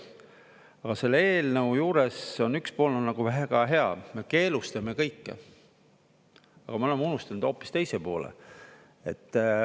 Aga selle eelnõu juures üks pool on nagu väga hea, me keelustame kõike, aga me oleme unustanud hoopis teise poole.